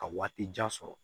Ka waati jan sɔrɔ